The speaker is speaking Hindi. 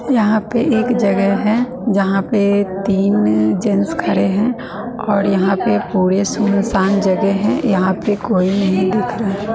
यहां पे एक जगह है यहां पे तीन जेंट्स खरे हैं और यहां पे पूरे सुनसान जगह हैं यहां पे कोई नहीं दिख रहा।